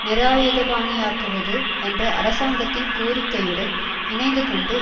நிராயுதபாணியாக்குவது என்ற அரசாங்கத்தின் கோரிக்கையுடன் இணைந்துகொண்டு